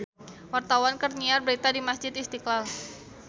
Wartawan keur nyiar berita di Masjid Istiqlal